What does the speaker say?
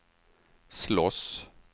slåss